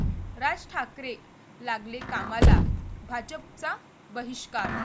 राज ठाकरे लागले कामाला, भाजपचा बहिष्कार!